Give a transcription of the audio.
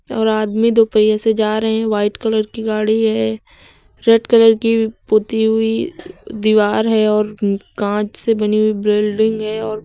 और आदमी दो पहिया से जा रहे हैं व्हाइट कलर की गाड़ी है रेड कलर की पुती हुई दीवार है और कांच से बनी हुई बिल्डिंग है और--